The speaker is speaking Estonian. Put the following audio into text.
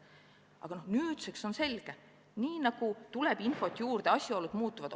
Aga nüüdseks on selge: sedamööda nagu infot juurde tuleb, asjaolud muutuvad.